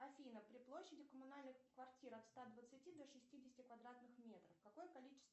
афина при площади коммунальных квартир от ста двадцати до шестидесяти квадратных метров какое количество